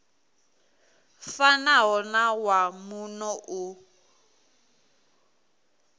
fanaho na wa muno u